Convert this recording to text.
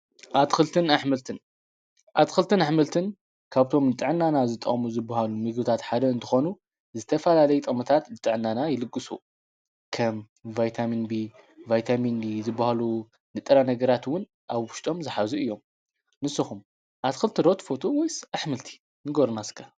ኣትክልትን ኣሕምልትን ኣትክልትን ኣሕምልትን ካብቶም ንጥዕናና ዝጠቅሙ ዝበሃሉ ምግብታት ሓደ እንትኮኑ ዝተፈላለየ ጥቅምታት ንጥዕናና ይልግሱ፡፡ ከም ቫይታሚን ቢ፣ ቫይታሚን ዲ ዝበሃሉ ንጥረ ነገራት እውን ኣብ ውሽጦም ዝሓዙ እዮም፡፡ ንስኩም ኣትክልቲ ዶ ትፈጥውስ ወይስ ኣሕምልቲ ንገሩና እስከ?